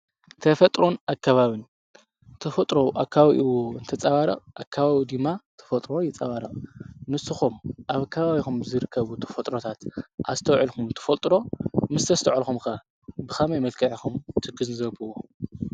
ተፈጥሮን ኣከባብን ተፈጥሮ ኣብ ኣከባቢኡ እንተፀባርቅ ኣከባቢኡ ድማ ተፈጥሮ ይንፀባረቅ። ንስኩም ኣብ ከባቢኩም ዝርከቡ ተፍጥሮታት ኣስተውዒልኩም ትፈልጡ ዶ? ምስ እስተውዐልኩም ከ ብከመይ መልክዕ ኢኩም ትግንዘብዎ?